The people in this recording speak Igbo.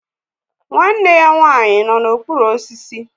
Nwanne ya nwanyị nọ n'okpuru osisi